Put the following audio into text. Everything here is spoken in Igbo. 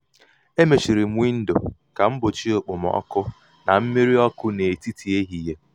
e mechiri m windo ka m gbochie okpomọkụ na mmírí ọkụ netiti ehihie.